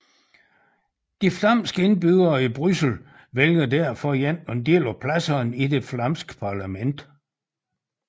De flamske indbyggere i Bryssel vælger derfor en del af pladserne i det flamske parlament